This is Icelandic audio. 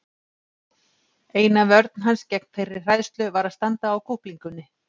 Eina vörn hans gegn þeirri hræðslu var að standa á kúplingunni.